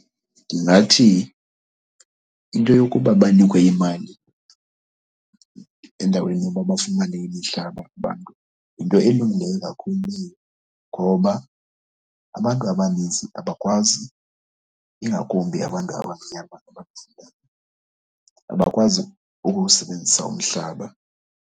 Ndingathi into yokuba banikwe imali endaweni yoba bafumane imihlaba abantu yinto elungileyo kakhulu leyo ngoba abantu abaninzi abakwazi, ingakumbi abantu abamnyama , abakwazi ukuwusebenzisa umhlaba.